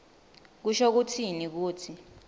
kusho kutsini kutsi